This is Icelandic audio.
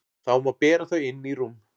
Þá má bera þau inn í rúm.